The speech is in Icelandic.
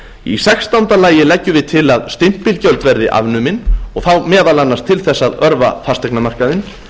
í sextánda lagi leggjum við til að stimpilgjöld verði afnumin og þá meðal annars til þess að örva fasteignamarkaðinn